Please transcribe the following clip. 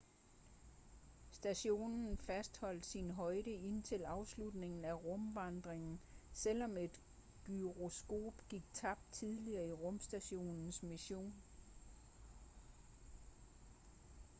stationen fastholdt sin højde indtil afslutningen af rumvandringen selvom et gyroskop gik tabt tidligere i rumstationens mission